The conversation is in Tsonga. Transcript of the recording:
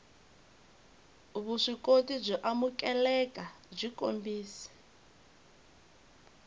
vuswikoti byo amukeleka byi kombisa